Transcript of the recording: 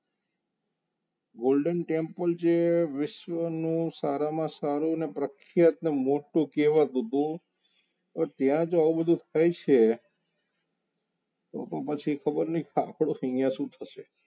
Golden temple જે વિશ્વનું સારામાં સારું ને પ્રખ્યાત મોટું કહેવાતું હતું તો ત્યાં જો આવું બધું થાય છે તો તો પછી ખબર નહિ આપણે અહીંયા શું થશે